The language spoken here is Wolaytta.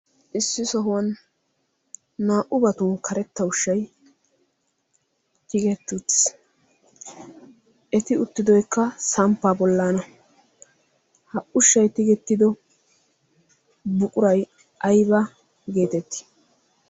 issi sohuwan naa''u batun karetta ushshai tigettutis eti uttidoykka samppaa bollaana ha ushshay tigettido buquray ayba geetettii